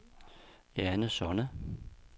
Jane Sonne